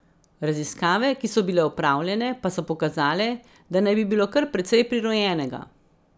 Raziskave, ki so bile opravljene, pa so pokazale, da naj bi bilo kar precej prirojenega.